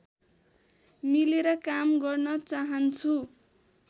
मिलेर काम गर्न चाहन्छु